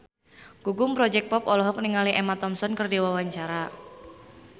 Gugum Project Pop olohok ningali Emma Thompson keur diwawancara